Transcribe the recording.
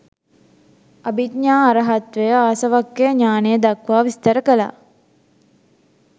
අභිඥා අරහත්වය ආසවක්ඛය ඤාණය දක්වා විස්තර කළා.